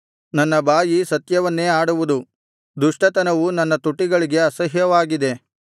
ನನ್ನ ಬಾಯಿ ಸತ್ಯವನ್ನೇ ಆಡುವುದು ದುಷ್ಟತನವು ನನ್ನ ತುಟಿಗಳಿಗೆ ಅಸಹ್ಯವಾಗಿದೆ